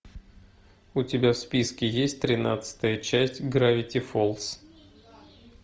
у тебя в списке есть тринадцатая часть гравити фолз